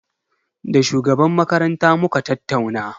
Da shugaban makaranta muka tattauna.